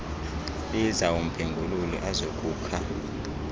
biza umphengululi azokukha